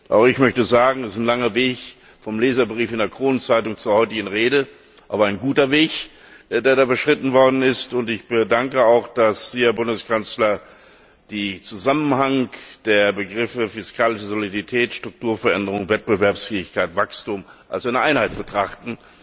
Auch ich möchte sagen, es ist ein langer Weg vom Leserbrief in der Kronenzeitung zur heutigen Rede, aber ein guter Weg, der da beschritten worden ist. Ich danke auch, dass Sie, Herr Bundeskanzler, den Zusammenhang der Begriffe fiskale Soliditätsstruktur, Veränderung, Wettbewerbsfähigkeit, Wachstum als eine Einheit betrachten.